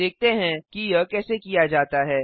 देखते हैं कि यह कैसे किया जाता है